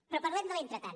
però parlem de l’entretant